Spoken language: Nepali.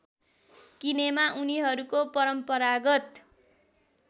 किनेमा उनीहरूको परम्परागत